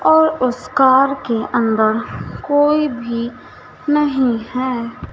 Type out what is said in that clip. और उस कार के अंदर कोई भी नहीं है।